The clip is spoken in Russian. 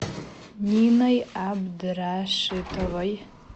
ниной абдрашитовой